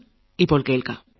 മനസ്സു പറയുത്